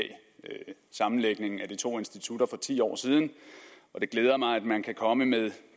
sammenlægningen af de to institutter for ti år siden og det glæder mig at man kan komme med